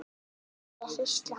Hún er hrísla.